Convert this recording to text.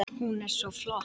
Hún er svo flott!